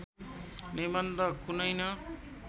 निबन्ध कुनै न